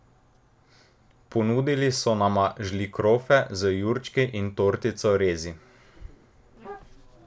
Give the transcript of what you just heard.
Ponudili so nama žlikrofe z jurčki in tortico rezi.